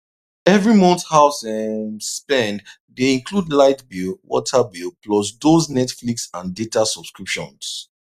every month house um spend dey include light bill water bill plus those netflix and data subscriptions